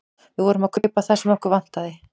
Við vorum að kaupa það sem okkur vantaði.